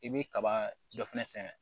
I bɛ kaba dɔ fɛnɛ sɛnɛ